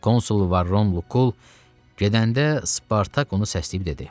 Konsul Varrun Lukul gedəndə Spartak onu səsləyib dedi: